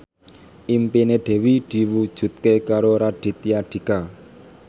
impine Dewi diwujudke karo Raditya Dika